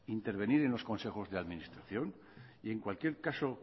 intervenir en los consejos de administración y en cualquier caso